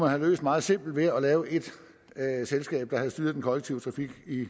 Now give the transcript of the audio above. have løst meget simpelt ved at lave ét selskab der styrede den kollektive trafik i